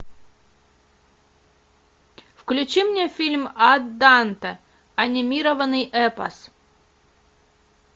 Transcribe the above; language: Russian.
включи мне фильм ад данте анимированный эпос